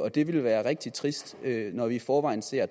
og det ville være rigtig trist når vi i forvejen ser